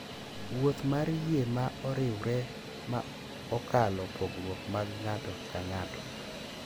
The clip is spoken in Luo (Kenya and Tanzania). Wuoth mar yie ma oriwre ma okalo pogruok mag ng’ato ka ng’ato.